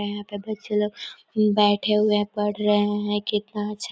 यहाँ पे बच्चे लोग बैठे हुए है पड़ रहे कितना अच्छा--